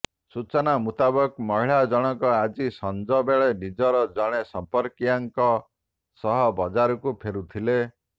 ସୂଚନା ମୁତାବକ ମହିଳାଜଣଙ୍କ ଆଜି ସଂଜ ବେଳେ ନିଜର ଜଣେ ସମ୍ପର୍କୀୟାଙ୍କ ସହ ବଜାରରୁ ଫେରୁଥିଲେ